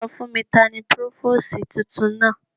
Sọ fún mi, tani Púrófósìì tuntun náà.